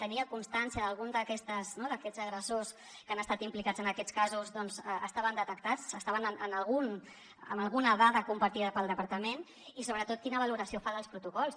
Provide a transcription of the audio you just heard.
tenia constància d’algun d’aquests agressors que han estat implicats en aquests casos estaven detectats estaven en alguna dada compartida pel departament i sobretot quina valoració fa dels protocols